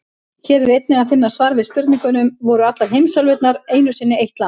Hér er einnig að finna svar við spurningunum: Voru allar heimsálfurnar einu sinni eitt land?